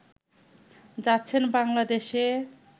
যাচ্ছেন বাংলাদেশে